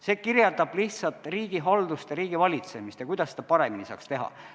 See kirjeldab lihtsalt riigihaldust ja riigivalitsemist ja seda, kuidas seda paremini saaks teha.